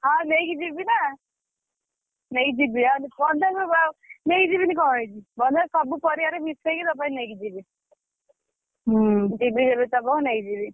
ହଁ ନେଇକି ଯିବିନା ନେଇକି ଯିବି ବନ୍ଧାକୋବି ଆଉ ନେଇକି ଯିବିନି କଁ ହେଇଛି ବନ୍ଧାକୋବି ସବୁ ପରିବାରେ ମିଶେଇକି ତୋ ପାଇଁ ନେଇକି ଯିବି ଯିବି ଯେବେ ଥବ ନେଇଯିବି।